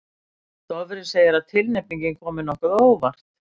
Dofri segir að tilnefningin komi nokkuð á óvart.